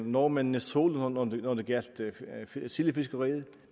nordmændene solo når det gjaldt sildefiskeriet